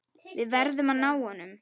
Við verðum að ná honum.